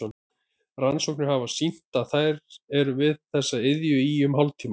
Rannsóknir hafa sýnt að þær eru við þessa iðju í um hálftíma.